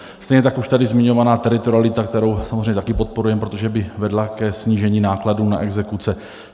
Stejně tak už tady zmiňovaná teritorialita, kterou samozřejmě také podporujeme, protože by vedla ke snížení nákladů na exekuce.